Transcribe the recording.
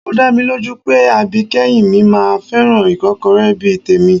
Ó dá mi lójú pé àbíkẹ́yìn mi máa fẹ́ràn ìkọ́kọrẹ́ bí i tèmi